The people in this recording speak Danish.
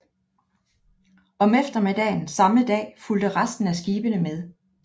Om eftermiddagen samme dag fulgte resten af skibene med